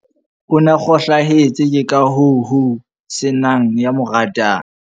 O na kgohlahetse ke ka hoo ho se nang ya mo ratang.